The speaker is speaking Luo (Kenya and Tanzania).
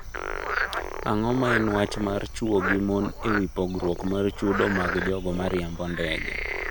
Ang’o ma en wach mar chwo gi mon e wi pogruok mar chudo mag jogo ma riembo ndege?